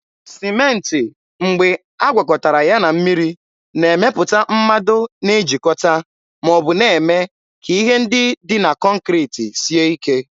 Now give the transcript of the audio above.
Sịmentị mgbe agwakọtara ya na mmiri, na-emepụta mmado na-ejikọta ma ọ bụ na-eme ka ihe ndị dị na kọnkriti sie ike.